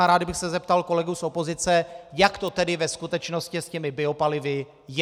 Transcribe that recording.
A rád bych se zeptal kolegů z opozice, jak to tedy ve skutečnosti s těmi biopalivy je.